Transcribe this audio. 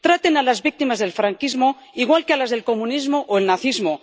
Traten a las víctimas del franquismo igual que a las del comunismo o el nazismo.